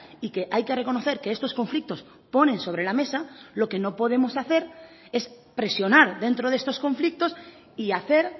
y que hay que reconocer que estos conflictos ponen sobre la mesa lo que no podemos hacer es presionar dentro de estos conflictos y hacer